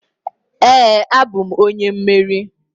Ee, abụm onye mmeri.